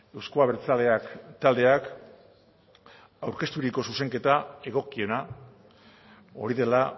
euzko abertzaleak taldeak aurkezturiko zuzenketa egokiena hori dela